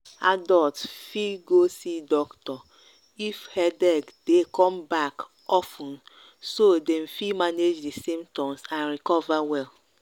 adults fit go see doctor if headache dey come back of ten so dem fit manage di symptoms and recover well.